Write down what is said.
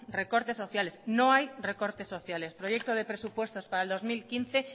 recortes sociales no hay recortes sociales proyecto de presupuesto para el dos mil quince